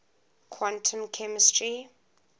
quantum chemistry